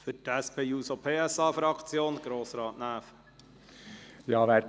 Für die SP-JUSO-PSA-Fraktion hat Grossrat Näf das Wort.